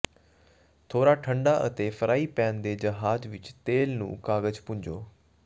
ਥੋੜਾ ਠੰਡਾ ਅਤੇ ਫਰਾਈ ਪੈਨ ਦੇ ਜਹਾਜ਼ ਵਿਚ ਤੇਲ ਨੂੰ ਕਾਗਜ਼ ਪੂੰਝੋ